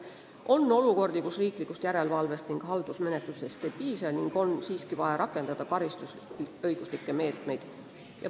On olukordi, kus riiklikust järelevalvest ning haldusmenetlusest ei piisa ning on siiski vaja rakendada karistusõiguslikke meetmeid.